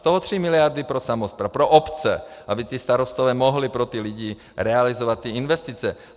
Z toho 3 miliardy pro samosprávy, pro obce, aby ti starostové mohli pro ty lidi realizovat ty investice.